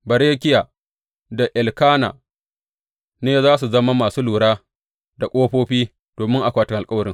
Berekiya da Elkana, ne za su zama masu lura da ƙofofi domin akwatin alkawarin.